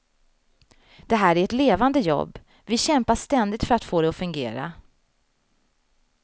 Det här är ett levande jobb, vi kämpar ständigt för att få det att fungera.